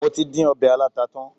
Mo tí dín ọbẹ̀ aláta tán.